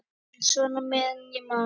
En svona meðan ég man.